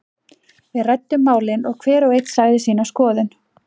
Við ræddum málin og hver og einn sagði sína skoðun.